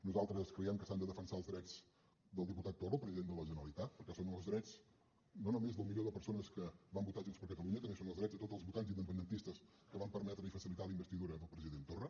nosaltres creiem que s’han de defensar els drets del diputat torra el president de la generalitat perquè són els drets no només del milió de persones que van votar junts per catalunya també són els drets de tots els votants independentistes que van permetre i facilitar la investidura del president torra